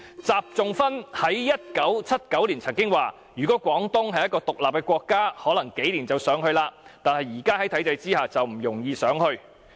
習仲勳在1979年曾經表示："如果廣東是一個'獨立的國家'，可能幾年就搞上去了，但是在現在的體制下，就不容易上去。